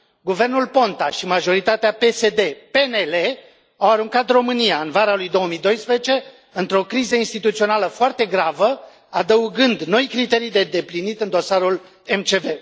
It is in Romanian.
Guvernul Ponta și majoritatea PSD PNL au aruncat România, în vara lui 2012, într o criză instituțională foarte gravă, adăugând noi criterii de îndeplinit în dosarul MCV.